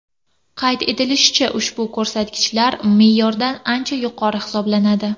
Qayd etilishicha, ushbu ko‘rsatkichlar me’yordan ancha yuqori hisoblanadi.